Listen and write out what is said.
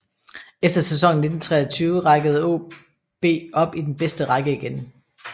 Efter sæsonen i 1923 rækkede AaB op i den bedste række igen